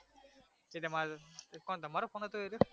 એ તમાર કોણ તમારો phone હતો એ રહ્યો